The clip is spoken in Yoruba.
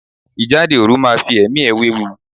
Ìjáde òru máa fi ẹ̀mí ẹ wéwu.